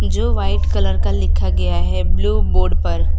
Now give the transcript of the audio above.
जो white colour का लिखा गया है ब्ल्यू बोर्ड पर--